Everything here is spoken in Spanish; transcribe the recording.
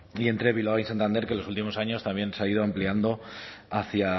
y entre bilbao y santander que en los últimos años también se ha ido ampliando hacia